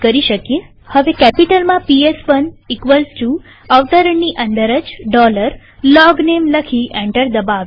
હવે પીએસ1 કેપિટલમાં અવતરણની અંદર જ LOGNAME લખી એન્ટર દબાવીએ